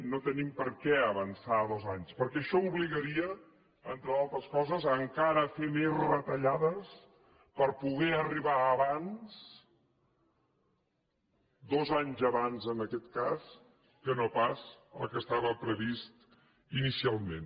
no tenim per què avançar dos anys perquè això obligaria entre d’altres coses a fer encara més retallades per poder arribar abans dos anys abans en aquest cas que no pas el que estava previst inicialment